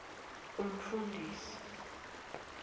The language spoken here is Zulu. umfundisi